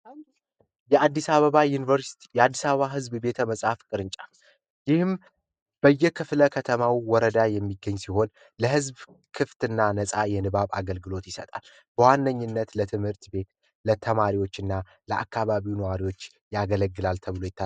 የአዲስ አበባ ዩኒቨርሲቲ የአዲስ አበባ ዝብ ቤተ መጽሐፍ ቅርንጫፍ ይህም ክፍለ ከተማው ወረዳ የሚገኝ ሲሆን ለህዝብ ክፍትና ነጻ የንባብ አገልግሎት ይሰጣል ዋነኝነት ለትምህርት ቤት ለተማሪዎች እና ለአከባቢ ነዋሪዎች ያገለግላል ተብሎ ይታሰባል